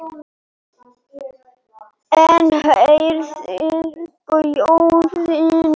Enn herðir gjörðin takið.